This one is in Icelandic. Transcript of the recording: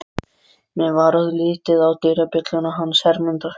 Mér varð litið á dyrabjölluna hans Hermundar.